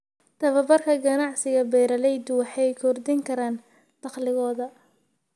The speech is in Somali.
Tababarka ganacsiga, beeralaydu waxay kordhin karaan dakhligooda.